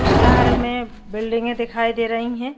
उस शहर में बिल्डिंगे दिखाई दे रही हैं।